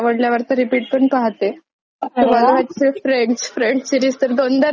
तुम्हाला माहितीये Friends Friends series तर दोनदा रिपीट पहिलीये मी इतकी आवडते ती मला.